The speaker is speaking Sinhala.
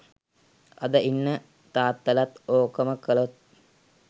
අද ඉන්න තාත්තලත් ඕකම කලොත්